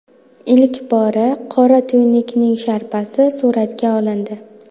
Ilk bor qora tuynukning sharpasi suratga olindi.